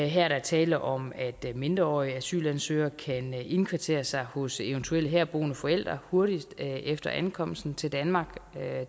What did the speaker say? her er der tale om at mindreårige asylansøgere kan indkvartere sig hos eventuelle herboende forældre hurtigt efter ankomsten til danmark